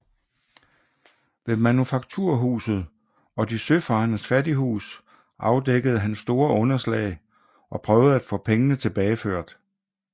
Ved Manufakturhuset og De søfarendes fattighus afdækkede han store underslag og prøvede at få pengene tilbageført